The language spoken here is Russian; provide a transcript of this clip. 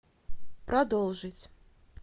продолжить